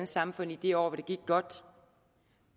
samfund i de år hvor det gik godt